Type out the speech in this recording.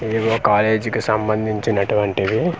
ఏవో కాలేజీ కి సంబందించునటువంటివి .]